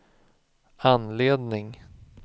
anledning